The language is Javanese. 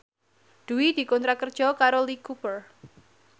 Dwi dikontrak kerja karo Lee Cooper